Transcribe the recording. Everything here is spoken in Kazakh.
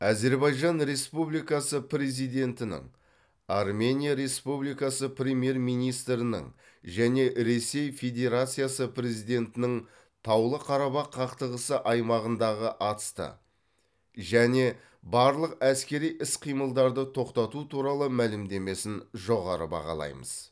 әзербайжан республикасы президентінің армения республикасы премьер министрінің және ресей федерациясы президентінің таулы қарабақ қақтығысы аймағындағы атысты және барлық әскери іс қимылдарды тоқтату туралы мәлімдемесін жоғары бағалаймыз